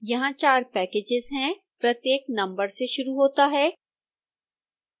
यहां चार पैकेजेस हैं प्रत्येक नंबर से शुरू होता है